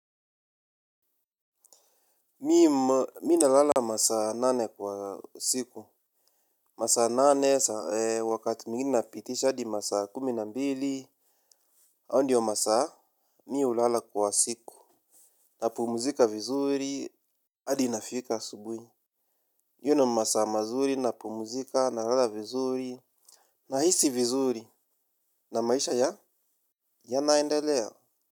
Mi nalala masaa nane kwa siku. Masaa nane, wakati mwingine napitisha adi masaa kumi na mbili. Ao ndio masaa, mi ulala kwa siku. Napumuzika vizuri, adi nafika asubwi. Yono masaa mazuri, napumuzika, narala vizuri. Nahisi vizuri, na maisha ya, ya naendelea.